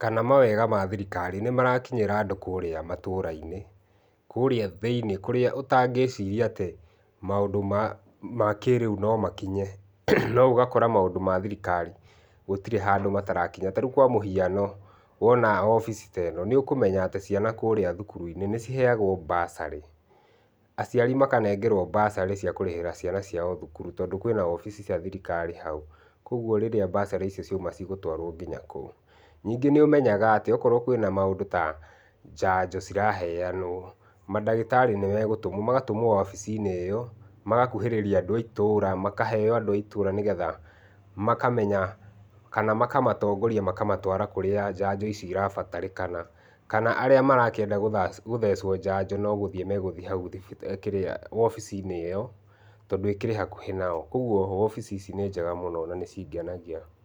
kana mawega ma thirikari nĩ marakinyĩra andũ kũrĩa matũra-inĩ kũrĩa thĩinĩ kũrĩa ũtangĩciria atĩ maũndũ ma kĩrĩu no makinye no ũgakora maũndũ ma thirikari gũtirĩ handũ matarakinya rĩu kwa mũhiano wona obici ta ĩno nĩ ũkũmenya atĩ ciana kũrĩa cukuru-inĩ nĩ ciheagwo mbacarĩ, aciari makaneo mbacarĩ cia kũrĩhĩra ciana ciao cukuru tondũ kwĩna obici cia thirikari hau, kogũo rĩrĩa mbacarĩ icio ciouma cigũtwarwo nginya kũu ningĩ nĩ ũmenyaga atĩ okorwo kwĩna maũndũ ta chanjo ciraheanwo mandagĩtarĩ nĩ magũtũmwo magatũmwo obici-inĩ ĩyo magakuhĩrĩria andũ a itũra, makaheyo andũ a itura nĩgetha makamenya kana makamatongoria makamatũara kũrĩa chanjo ici irabatarĩkana kana arĩa marenda gũthecwo njanjo no gũthiĩ magũthiĩ hau wobici-inĩ ĩyo tondũ ĩkĩrĩ hakũhi nayo kogũo obici ici nĩ njega mũno na nĩ cingenagia.